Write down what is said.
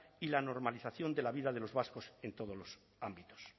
y la normalización de la vida de los vascos en todos los ámbitos